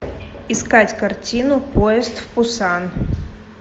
искать картину поезд в пусан